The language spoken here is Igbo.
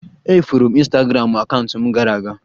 E furu m ịnstagramụ akaụntụ m gara aga